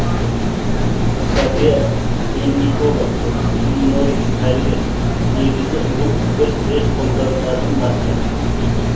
софья линникова иммунолог дәрігер негізі бұл бір рет қолданылатын маска